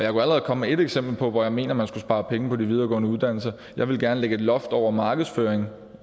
allerede komme med ét eksempel på hvor jeg mener man skulle spare penge på de videregående uddannelser jeg ville gerne lægge et loft over markedsføring